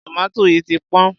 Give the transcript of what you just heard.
tòmátì yìí ti pọ́n.